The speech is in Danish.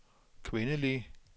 kvindelige